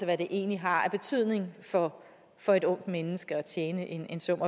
hvad det egentlig har af betydning for for et ungt menneske at tjene en sum